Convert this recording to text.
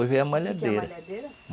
Veio a malhadeira. O que que é a malhadeira?